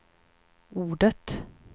ordet